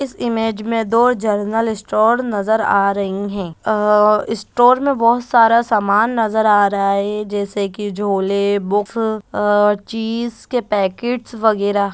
इस इमेज में दो जनरल स्टोर नजर आ रही है आ स्टोर में बहुत सारा समान नजर आ रहा है जैसे कि झोले बुक्स अ चीज के पैकेट वगैरा --